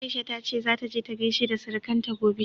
Aisha ta ce zata je ta gaishe da surukanta gobe.